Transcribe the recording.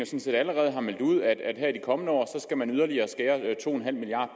set allerede meldt ud at her i de kommende år skal man yderligere skære to milliard